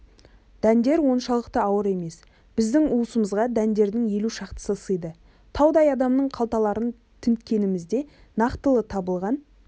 дәндер оншалықты ауыр емес біздің уысымызға дәндердің елу шақтысы сыйды таудай адамның қалталарын тінткенімізде нақтылы табылған